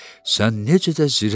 Sən necə də zirəksən?